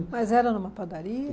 Mas era numa padaria?